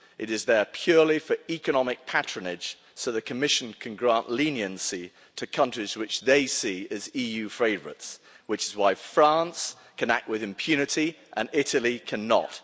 It is there purely for economic patronage so the Commission can grant leniency to countries which they see as EU favourites, which is why France can act with impunity and Italy cannot.